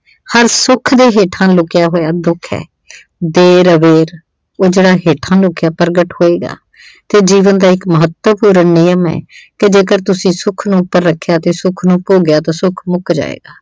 ਹਰ ਸੁੱਖ ਦੇ ਹੇਠਾਂ ਲੁਕਿਆ ਹੋਇਆ ਦੁੱਖ ਆ ਦੇਰ ਅਬੇਰ ਇਹ ਜਿਹੜਾ ਹੇਠਾਂ ਲੁਕਿਆ ਪ੍ਰਗਟ ਹੋਏਗਾ ਤੇ ਜੀਵਨ ਦਾ ਇੱਕ ਮਹੱਤਵਪੂਰਨ ਨੇਮ ਏ ਜੇਕਰ ਤੁਸੀਂ ਸੁੱਖ ਨੂੰ ਉੱਪਰ ਰੱਖਿਆ ਤੇ ਸੁੱਖ ਨੂੰ ਭੋਗਿਆ ਤਾਂ ਸੁੱਖ ਮੁੱਕ ਜਾਏਗਾ।